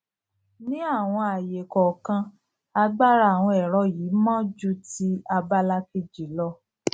ní àwọn àayè kọọkan agbára àwọn ẹrọ yìí mọ ju ti abala kejì lọ